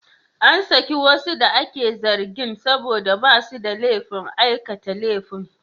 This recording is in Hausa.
An saki wasu da ake zargin saboda ba su da laifin aikata laifin.